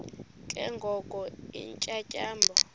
ke ngoko iintyatyambo